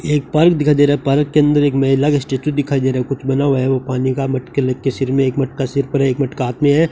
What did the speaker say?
एक पार्क दिखाई दे रहा है पार्क के अंदर एक महिला का स्टेच्यू दिखाई दे रहा है कुछ बना हुआ है वो पानी का मटके ले के सिर मे एक मटका सिर पर एक मटका हाथ में है।